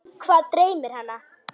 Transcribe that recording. Hvað dreymir hana?